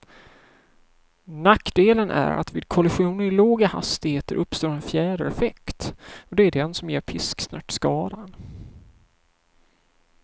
Nackdelen är att vid kollisioner i låga hastigheter uppstår en fjädereffekt, och det är den som ger pisksnärtskadan.